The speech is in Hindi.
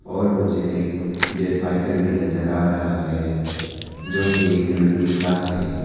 और मुझे एक जेट फाइटर भी नजर आ रहा है जो की एक रेप्लिका का है।